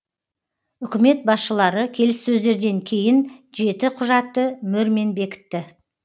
үкімет басшылары келіссөздерден кейін жеті құжатты мөрмен бекітті